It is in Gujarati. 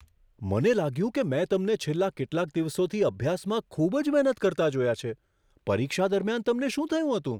મને લાગ્યું કે મેં તમને છેલ્લા કેટલાક દિવસોથી અભ્યાસમાં ખૂબ જ મહેનત કરતા જોયા છે. પરીક્ષા દરમિયાન તમને શું થયું હતું?